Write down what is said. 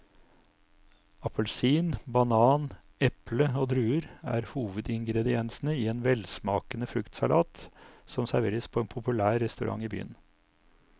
Appelsin, banan, eple og druer er hovedingredienser i en velsmakende fruktsalat som serveres på en populær restaurant i byen.